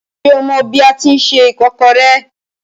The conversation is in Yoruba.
Ṣé o mọ bi a tíi se ìkọ́kọrẹ́?